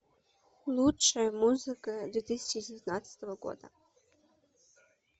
лучшая музыка две тысячи девятнадцатого года